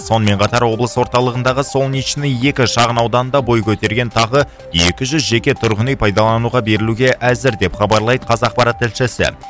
сонымен қатар облыс орталығындағы солнечный екі шағын ауданында бой көтерген тағы екі жүз жеке тұрғын үй пайдалануға берілуге әзір деп хабарлайды қазақпарат тілшісі